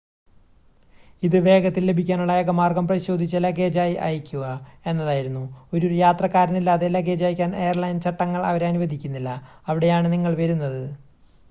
ഇത് വേഗത്തിൽ ലഭിക്കാനുള്ള ഏക മാർഗം പരിശോധിച്ച ലഗേജായി അയയ്ക്കുക എന്നതായിരുന്നു ഒരു യാത്രക്കാരനില്ലാതെ ലഗേജ് അയയ്ക്കാൻ എയർലൈൻ ചട്ടങ്ങൾ അവരെ അനുവദിക്കുന്നില്ല അവിടെയാണ് നിങ്ങൾ വരുന്നത്